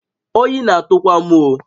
Oyi na-atụ kwa m oh!